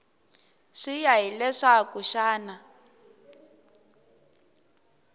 swi ya hi leswaku xana